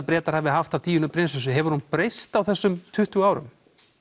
Bretar hafa haft af Díönu prinsessu hefur hún breyst á þessum tuttugu árum